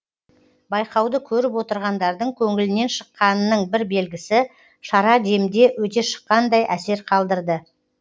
байқауды көріп отырғандардың көңілінен шыққанының бір белгісі шара демде өте шыққандай әсер қалдырды